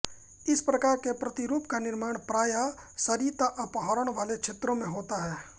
इस प्रकार के प्रतिरूप का निर्माण प्रायः सरिता अपहरण वाले क्षेत्रो मे होता है